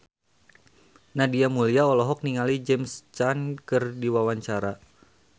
Nadia Mulya olohok ningali James Caan keur diwawancara